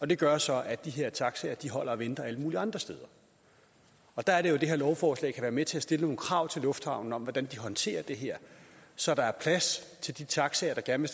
det gør så at de her taxaer holder og venter alle mulige andre steder og der er det jo at det her lovforslag kan være med til at stille nogle krav til lufthavnen om hvordan de håndterer det her så der er plads til de taxaer der gerne